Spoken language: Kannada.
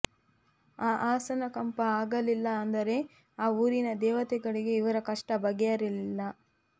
ಆ ಆಸನ ಕಂಪ ಆಗಲಿಲ್ಲ ಅಂದರೆ ಆ ಊರಿನ ದೇವತೆಗಳಿಗೆ ಇವರ ಕಷ್ಟ ಬಗೆಹರಿಯಲಿಲ್ಲ